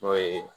N'o ye